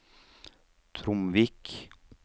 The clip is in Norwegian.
Tromvik